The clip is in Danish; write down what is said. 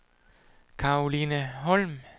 Karoline Holm